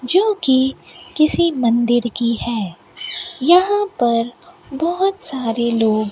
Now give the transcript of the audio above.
जोकि किसी मंदिर की है यहां पर बहोत सारे लोग --